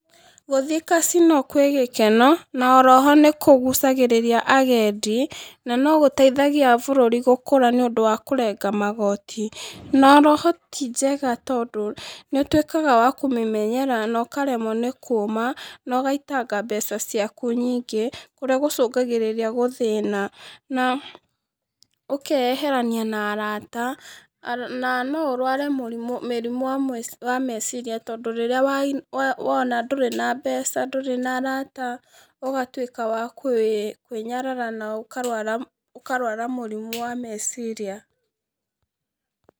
Gũthiĩ Casino kwĩ gĩkeno, na oro ho nĩ kũgucagĩrĩria agendi. Na no gũteithagia gũkũra nĩ ũndũ wa kũrenga magoti. Na oro ho ti njega tondũ, nĩũtwĩkaga wa kũmĩmenyera na ũkaremwo nĩ kuma, no ũgaitanga mbeca ciaku nyingĩ kũrĩa gũcũngagĩrĩria gũthĩna, n a ũkeyeherania na arata. Na no ũrware mũrimũ wa meciria tondũ rĩrĩa wona ndũrĩ na mbeca, ndũrĩ na arata ũgatwĩka wa kwĩnyarara na ũkarwara mũrimũ wa meciria.